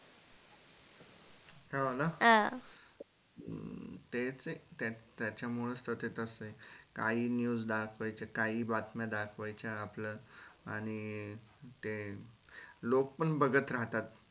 हो ना हम्म तेच ते त्याचमूळ च त ते तसं आहे काहीही news दाखवायच्या काहीही बातम्या दाखवायच्या आपलं आणि ते लोक पण बघत राहतात.